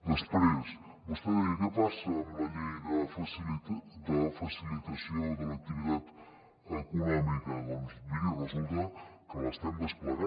després vostè deia què passa amb la llei de facilitació de l’activitat econòmica doncs miri resulta que l’estem desplegant